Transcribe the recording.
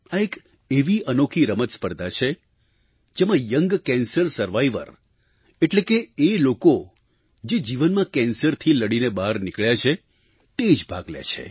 આ એક એવી અનોખી રમત સ્પર્ધા છે જેમાં યંગ કેન્સર સર્વાઇવર એટલે કે એ લોકો જે જીવનમાં કેન્સરથી લડીને બહાર નીકળ્યા છે તે જ ભાગ લે છે